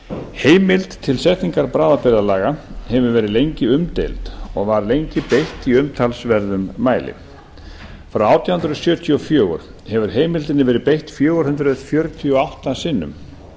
heimild til setningar bráðabirgðalaga hefur lengi verið umdeild og var lengi beitt í umtalsverðum mæli frá átján hundruð sjötíu og fjögur hefur heimildinni verið beitt fjögur hundruð fjörutíu og átta sinnum